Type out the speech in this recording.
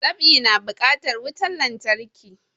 Dab'i na bukatar wutan lantarki